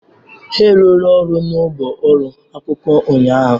ha rụrụ ọrụ n'ugbo ụlọ akwụkwọ ụnyahụ.